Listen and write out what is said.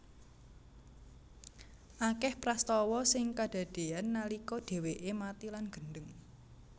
Akeh prastawa sing kadadean nalika dheweke mati lan gendheng